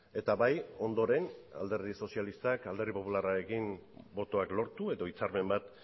eta bai ondoren alderdi sozialistak alderdi popularrarekin botoak lortu edo hitzarmen bat